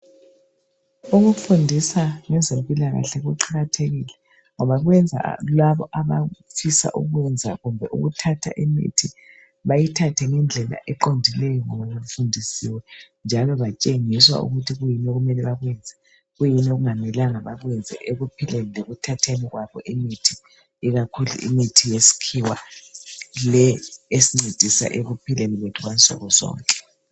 Ukufundisa ngezempilakahle kuqakathekile ngoba kwenza labo abafisa ukwenza kumbe ukuthatha imithi bayithathe ngendlela eqondileyo ngoba befundisiwe njalo batshengiswa ukuthi kuyini okumele bakwenze, kuyini okungamelanga bakwenze ekuphileni kwabo lekuthatheni kwabo imithi ikakhulu imithi yesikhiwa le esincedisa ekuphileni kwethu kwansuku zonke.